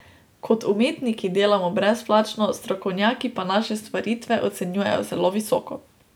Kot umetniki delamo brezplačno, strokovnjaki pa naše stvaritve ocenjujejo zelo visoko.